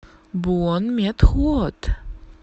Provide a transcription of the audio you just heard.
буонметхуот